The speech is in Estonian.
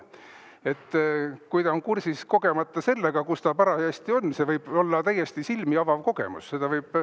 Kui ta on kogemata kursis sellega, seal, kus ta parajasti on, siis see võib olla täiesti silmi avav kogemus.